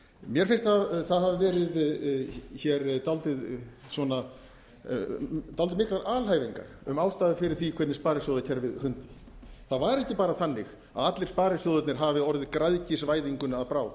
mér finnst það hafa verið hér dálítið svona miklar alhæfingar um ástæður fyrir því hvernig sparisjóðakerfið hrun það var ekki bara þannig að allir sparisjóðirnir hafi orðið græðgisvæðingunni að bráð